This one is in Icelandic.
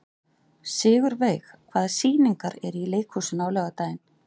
Sigurveig, hvaða sýningar eru í leikhúsinu á laugardaginn?